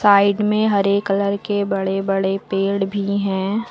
Side में हरे colour के बड़े बड़े पेड़ भी हैं।